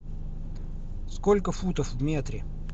сколько футов в метре